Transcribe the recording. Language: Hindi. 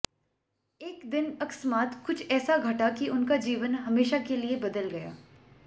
एक दिन अकस्मात कुछ ऐसा घटा कि उनका जीवन हमेशा के लिए बदल गया